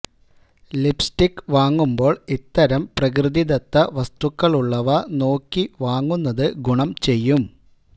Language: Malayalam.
ലിപ്സ്റ്റിക് വാങ്ങുമ്പോള് ഇത്തരം പ്രകൃതിദത്ത വസ്തുക്കളുള്ളവ നോക്കി വാങ്ങുന്നത് ഗുണം ചെയ്യും